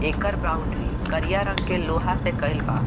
एकर boundary करिया रंग के लोहा से कईल बा।